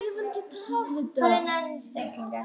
Þú hlýtur að þekkja hann.